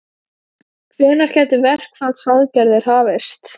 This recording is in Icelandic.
Hvenær gætu verkfallsaðgerðir hafist?